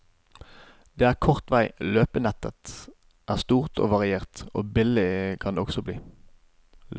Det er kort vei, løypenettet er stort og variert, og billig kan det også bli.